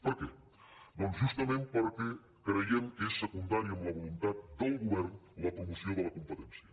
per què doncs justament perquè creiem que és secundari en la voluntat del go·vern la promoció de la competència